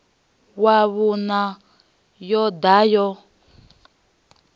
wa vhuṋa yo ḓa ya